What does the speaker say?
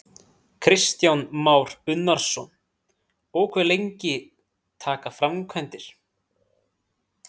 Kristján Már Unnarsson: Og hve lengi taka framkvæmdir?